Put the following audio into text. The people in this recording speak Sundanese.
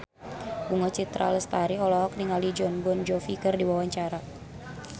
Bunga Citra Lestari olohok ningali Jon Bon Jovi keur diwawancara